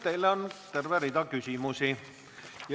Teile on terve rida küsimusi.